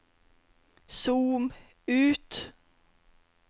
zoom ut